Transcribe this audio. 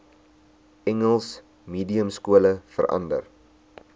engels mediumskole verander